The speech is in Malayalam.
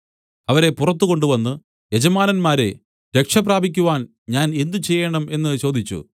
അവരെ പുറത്ത് കൊണ്ടുവന്ന് യജമാനന്മാരേ രക്ഷ പ്രാപിക്കുവാൻ ഞാൻ എന്ത് ചെയ്യേണം എന്നു ചോദിച്ചു